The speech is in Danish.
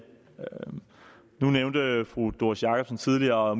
nu nævnte fru doris jakobsen tidligere